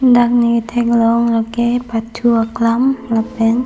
dak ne kethek long la ke pathu aklam lapen--